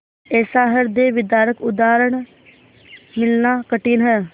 ऐसा हृदयविदारक उदाहरण मिलना कठिन है